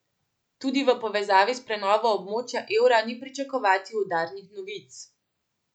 Tudi v povezavi s prenovo območja evra ni pričakovati udarnih novic.